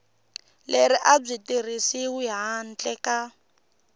leri a byi tirhisiwi handle